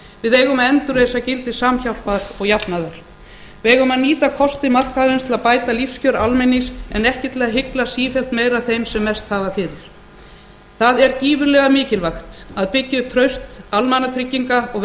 við eigum að endurreisa gildi samhjálpar og jafnaðar við eigum að nýta kosti markaðarins til að bæta lífskjör almennings en ekki til að hygla sífellt meira þeim sem mest hafa fyrir það er gífurlega mikilvægt að byggja upp traust almannatrygginga og